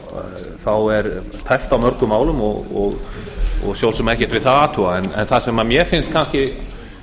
málefnin þá er tæpt á mörgum málum og svo sem ekkert við það að athuga en það sem mér finnst kannski